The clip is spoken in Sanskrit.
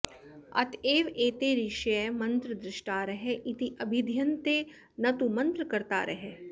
अत एव एते ऋषयः मन्त्रद्रष्टारः इति अभिधीयन्ते न तु मन्त्रकर्तारः